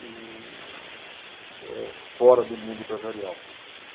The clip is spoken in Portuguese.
E, eh fora do mundo empresarial.